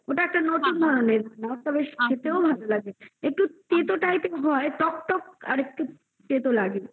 ওটা একটা নতুন ধরণের ওটা বেশ খেতেও ভালো লাগে একটু তেতো type এর হয় আর একটু টকটক ও তেতো লাগে